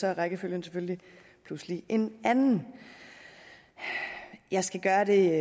er rækkefølgen selvfølgelig pludselig en anden jeg skal gøre det